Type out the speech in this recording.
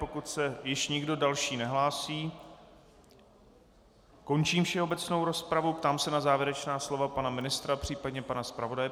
Pokud se již nikdo další nehlásí, končím všeobecnou rozpravu, ptám se na závěrečná slova pana ministra, případně pana zpravodaje.